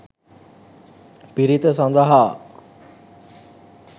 පිරිත සඳහා